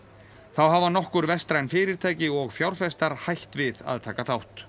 þá hafa nokkur vestræn fyrirtæki og fjárfestar hætt við að taka þátt